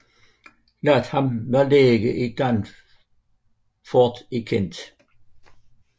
Latham var læge i Dartford i Kent